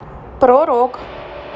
про рок